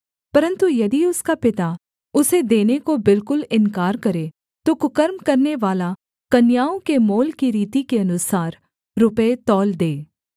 परन्तु यदि उसका पिता उसे देने को बिल्कुल इन्कार करे तो कुकर्म करनेवाला कन्याओं के मोल की रीति के अनुसार रुपये तौल दे